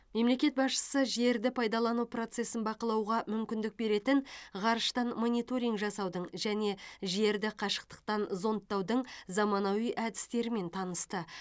мемлекет басшысы жерді пайдалану процесін бақылауға мүмкіндік беретін ғарыштан мониторинг жасаудың және жерді қашықтықтан зондтаудың заманауи әдістерімен танысты